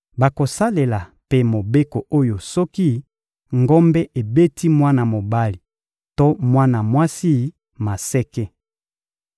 Bakosalela mpe mobeko oyo soki ngombe ebeti mwana mobali to mwana mwasi maseke.